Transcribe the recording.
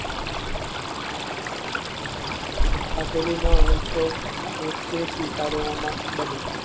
તો તે સ્વીકારવામાં બને.